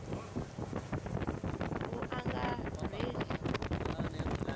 vuangarheli